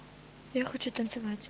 я хочу